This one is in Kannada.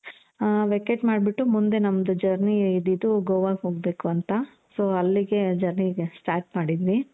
vacate ಮಾಡ್ಬಿಟ್ಟು ಮುಂದೆ ನಮ್ದು journey ಇದ್ದಿದ್ದು ಗೋವಾ ಗೆ ಹೋಗ್ಬೇಕು ಅಂತ. so ಅಲ್ಲಿಗೆ journey start ಮಾಡಿದ್ವಿ.